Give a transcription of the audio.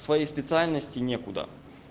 своей специальности никуда